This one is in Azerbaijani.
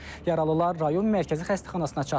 Yaralılar rayon mərkəzi xəstəxanasına çatdırılıb.